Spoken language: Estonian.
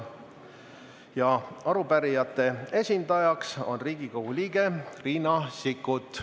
Arupärijate esindajaks on Riigikogu liige Riina Sikkut.